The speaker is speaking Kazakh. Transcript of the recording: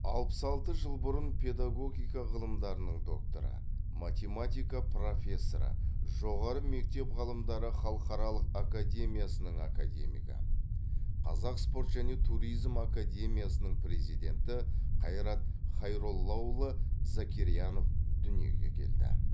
алпыс алты жыл бұрын педагогика ғылымдарының докторы математика профессоры жоғары мектеп ғылымдары халықаралық академиясының академигі қазақ спорт және туризм академиясының президенті қайрат хайроллаұлы закирьянов дүниеге келді